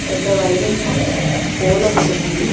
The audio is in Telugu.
పెద్ద వైరింగ్ పోల్ ఒకటి ఉంది.